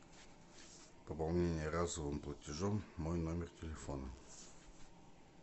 пополнение разовым платежом мой номер телефона